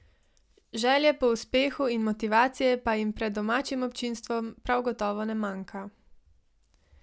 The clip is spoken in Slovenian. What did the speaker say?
Želje po uspehu in motivacije pa jim pred domačim občinstvom prav gotovo ne manjka.